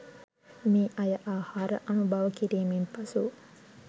මේ අය ආහාර අනුභව කිරීමෙන් පසු